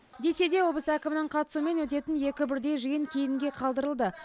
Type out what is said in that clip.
десе де облыс әкімінің қатысуымен өтетін екі бірдей жиын кейінге қалдырылды